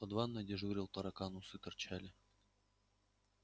под ванной дежурил таракан усы торчали